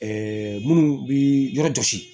minnu bɛ yɔrɔ jɔsi